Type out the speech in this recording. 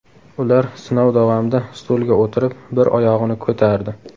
Ular sinov davomida stulga o‘tirib, bir oyog‘ini ko‘tardi.